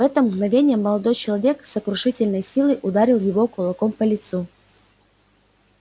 в это мгновение молодой человек с сокрушительной силой ударил его кулаком по лицу